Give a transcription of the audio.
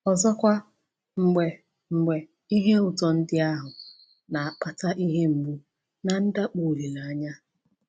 Ọzọkwa, mgbe mgbe ihe ụtọ ndị ahụ na-akpata ihe mgbu na ndakpọ olileanya.